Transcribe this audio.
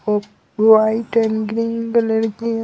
और white and green colour की---